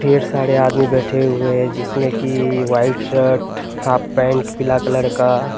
ढेर सारे आदमी बैठे हुए हैं जिसमें की वाइट शर्ट हाफ पैंट पीला कलर का।